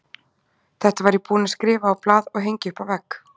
Þetta var ég búinn að skrifa á blað og hengja upp á vegg.